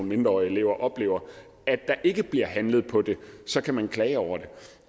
mindreårige elever oplever at der ikke bliver handlet på det så kan man klage over det